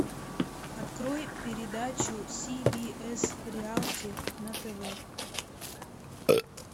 открой передачу си би эс реалти на тв